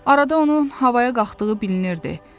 Arada onun havaya qalxdığı bilinirdi.